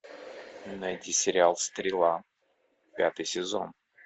найти сериал стрела пятый сезон